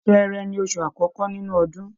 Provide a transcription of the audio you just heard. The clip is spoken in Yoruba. Ṣẹẹrẹ ni oṣù àkọ́kọ́ nínú ọdún.